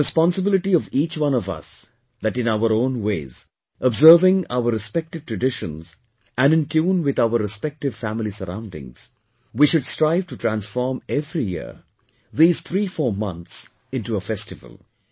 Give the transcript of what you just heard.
It is the responsibility of each one of us that in our own ways, observing our respective traditions and in tune with our respective family surroundings, we should strive to transform every year these 34 months into a festival